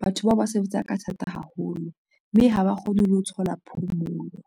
batho bao ba sebetsa ka thata haholo mme haba kgone le ho thola phomolo.